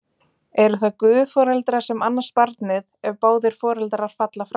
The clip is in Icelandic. Eru það guðforeldrar sem annast barnið, ef báðir foreldrar falla frá?